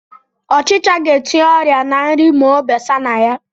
Ọchicha ga-etinye ọrịa ná nri ma o besa na ya